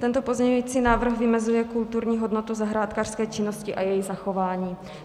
Tento pozměňující návrh vymezuje kulturní hodnotu zahrádkářské činnosti a její zachování.